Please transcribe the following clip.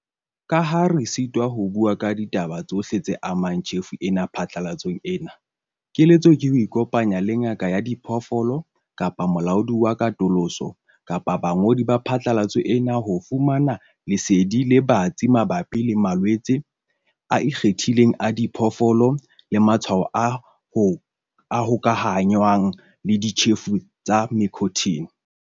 Ka ha re sitwa ho bua ka ditaba tsohle tse amang tjhefo ena phatlalatsong ena, keletso ke ho ikopanya le ngaka ya diphoofolo kapa molaodi wa katoloso kapa bangodi ba phatlalatso ena ho fumana lesedi le batsi mabapi le malwetse a ikgethileng a diphoofolo le matshwao a ka hokahanngwang le ditjhefo tsa mycotoxin.